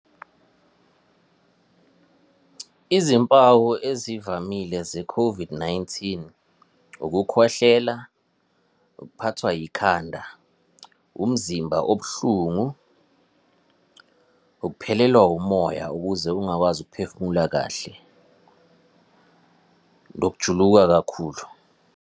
Izimpawu ezivamile ze-COVID-19, ukukhwehlela, ukuphathwa yikhanda, umzimba obuhlungu, ukuphelelwa umoya ukuze ungakwazi ukuphefumula kahle, nokujuluka kakhulu.